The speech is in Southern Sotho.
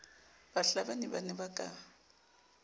bahlabani ba ne ba ka